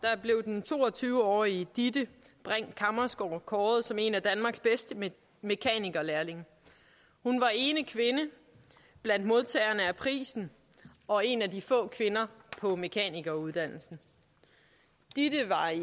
blev den to og tyve årige ditte brink kammersgaard kåret som en af danmarks bedste mekanikerlærlinge hun var ene kvinde blandt modtagerne af prisen og en af de få kvinder på mekanikeruddannelsen ditte var i